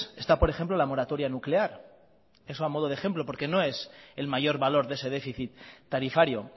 está por ejemplo la moratoria nuclear eso a modo de ejemplo porque no es el mayor valor de ese déficit tarifario